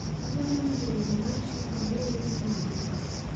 Adwaro winjo wer mar shuka mower gi mwabuka